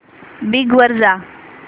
Bing वर जा